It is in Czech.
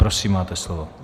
Prosím, máte slovo.